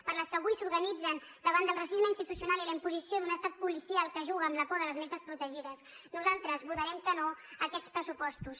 per les que avui s’organitzen davant del racisme institucional i la imposició d’un estat policial que juga amb la por de les més desprotegides nosaltres votarem que no a aquests pressupostos